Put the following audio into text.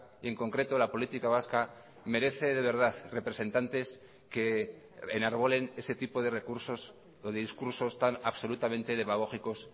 y en concreto la política vasca merece de verdad representantes que enarbolen ese tipo de recursos o de discursos tan absolutamente demagógicos